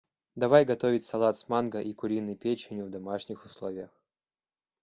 давай готовить салат с манго и куриной печенью в домашних условиях